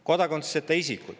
Kodakondsuseta isikud.